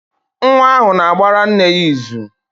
Nwa ahụ na-agbara nne ya izù.